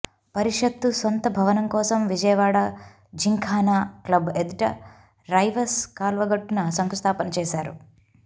పరిషత్తు సొంత భవనం కోసం విజయవాడ జింఖానా క్లబ్ ఎదుట రైవస్ కాల్వగట్టున శంకుస్థాపన చేశారు